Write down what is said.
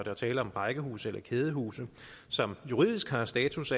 er tale om rækkehuse eller kædehuse som juridisk har status